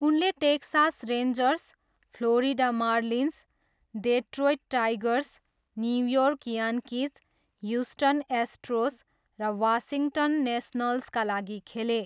उनले Texas Rangers, Florida Marlins, Detroit Tigers, New York Yankees, Houston Astros र Washington नेसनल्सका लागि खेले।